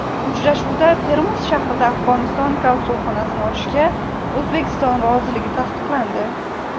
Uchrashuvda Termiz shahrida Afg‘oniston konsulxonasini ochishga O‘zbekiston roziligi tasdiqlandi.